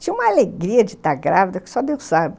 Tinha uma alegria de estar grávida, que só Deus sabe.